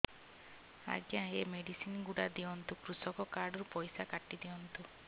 ଆଜ୍ଞା ଏ ମେଡିସିନ ଗୁଡା ଦିଅନ୍ତୁ କୃଷକ କାର୍ଡ ରୁ ପଇସା କାଟିଦିଅନ୍ତୁ